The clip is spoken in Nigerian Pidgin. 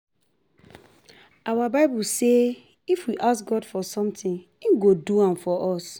Our bible say if we ask God for something he go do am for us